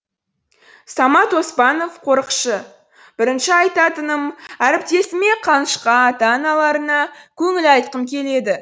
самат оспанов қорықшы бірінші айтатыным әріптесіме қанышқа ата аналарына көңіл айтқым келеді